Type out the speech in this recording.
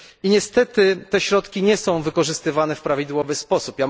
I niestety te środki nie są wykorzystywane w prawidłowy sposób.